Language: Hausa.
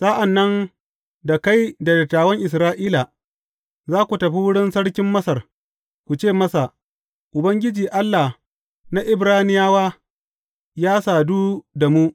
Sa’an nan da kai da dattawan Isra’ila, za ku tafi wurin sarkin Masar, ku ce masa, Ubangiji, Allah na Ibraniyawa, ya sadu da mu.